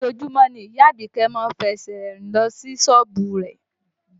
Ojoojúmọ́ ni ìyá Àdùkẹ́ má ń fi ẹsẹ̀ rìn lọ sí sọ́ọ̀bù rẹ̀